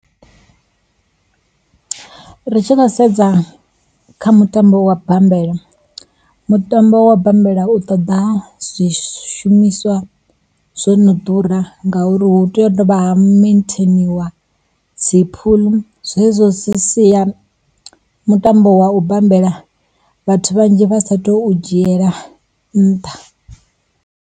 Ri tshi khou sedza kha mutambo wa bammbela, mutambo wa bammbela u ṱoḓa zwishumiswa zwo no ḓura ngauri hu tea u dovha ha metheiniwa dzi phuḽu, zwezwo zwi sia mutambo wa u bambela vhathu vhanzhi vha satu dzhiela nṱha.